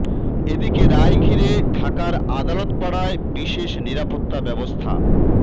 এদিকে রায় ঘিরে ঢাকার আদালত পাড়ায় বিশেষ নিরাপত্তা ব্যবস্থা